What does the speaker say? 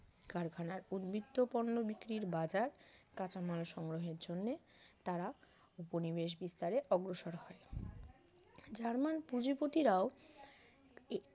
কারখানার উদবৃত্ত পণ্য বিক্রির বাজার কাঁচামাল সংগ্রহের জন্য তারা উপনিবেশ বিস্তারে অগ্রসর হয় জার্মান পুঁজিপতিরাও